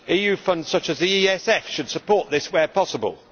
EU funds such as the ESF should support this where possible.